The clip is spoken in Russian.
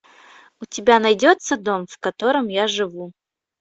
у тебя найдется дом в котором я живу